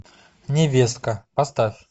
невестка поставь